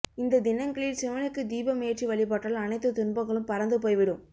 இந்த தினங்களில் சிவனுக்கு தீபம் ஏற்றி வழிபட்டால் அனைத்து துன்பங்களும் பறந்து போய்விடும்